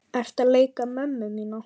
Ertu að leika mömmu mína?